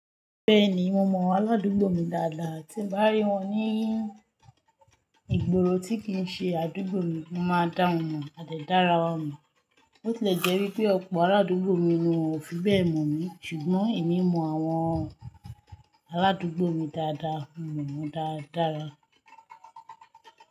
Bẹ́ẹ̀ni, mo mọ àwọn aládùúgbò mi dáadáa. Tí mo bá rí wọn ní ìgboro tí kì í ṣe àdúgbò mi, mo máa dá wọn mọ̀, a dẹ̀ dára wọn mọ̀. Ó ti lè jẹ́ wípé ọ̀pọ̀ àwọn aládùúgbò mi ni wón ò fi bẹ́ẹ̀ mọ̀ mí, ṣùgbọ́n èmi mọ àwọn aládùúgbò mi dáadáa, mo mọ̀ wọ́n dáradára.